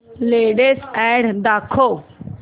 latest ad दाखव